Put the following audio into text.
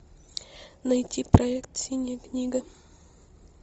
найти проект синяя книга